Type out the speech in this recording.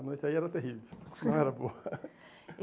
A noite aí era terrível, não era boa.